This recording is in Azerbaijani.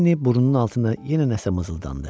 Lenni burnunun altında yenə nəsə mızıldandı.